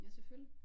Ja selvfølgelig